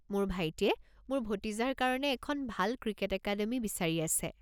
মোৰ ভাইটিয়ে মোৰ ভতিজাৰ কাৰণে এখন ভাল ক্ৰিকেট একাডেমি বিচাৰি আছে।